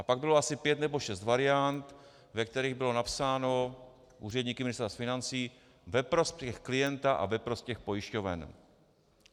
A pak bylo asi pět nebo šest variant, ve kterých bylo napsáno úředníky z Ministerstva financí: Ve prospěch klienta a ve prospěch pojišťoven.